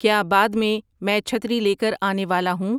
کیا بعد میں میں چھتری لے کر آنے والا ہوں